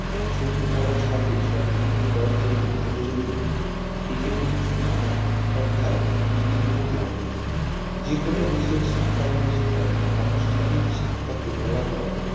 স্ত্রোতধারার হওয়ার সাথে সম্পৃক্ত করার জন্য প্রয়োজন একীভূত শিক্ষা অর্থাৎ integrated learning যেকোনো দেশেই শিক্ষা ব্যাবস্থায় আনুষ্ঠানিক শিক্ষাকে বলা হয়